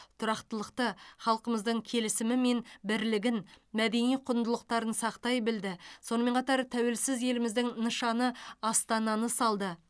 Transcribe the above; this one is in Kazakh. тұрақтылықты халқымыздың келісімі мен бірлігін мәдени құндылықтарын сақтай білді сонымен қатар тәуелсіз еліміздің нышаны астананы салды